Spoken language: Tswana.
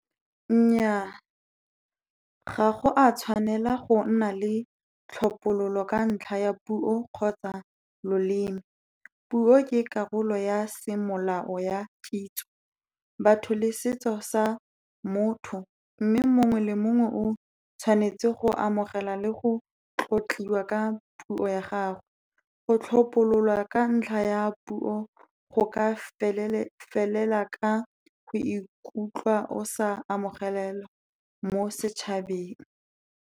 Nnyaa, ga go a tshwanela go nna le tlhophololo ka ntlha ya puo kgotsa loleme. Puo ke karolo ya semolao ya kitso, batho le setso sa motho. Mme mongwe le mongwe o tshwanetse go amogela le go tlotliwa ka puo ya gago. Go tlhopololwa ka ntlha ya puo go ka felela ka go ikutlwa o sa amogelwa mo setšhabeng.